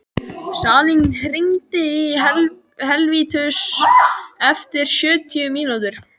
Salín, hringdu í Helvítus eftir sjötíu mínútur.